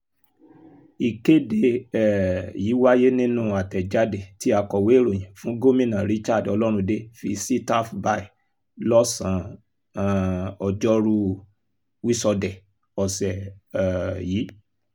ìkéde um yìí wáyé nínú àtẹ̀jáde tí akọ̀wé ìròyìn fún gómìnà richard ọlọ́runndé fi sitav by lọ́sàn-án ọjọ́rùú wíṣọdẹ̀ ọ̀sẹ̀ um yìí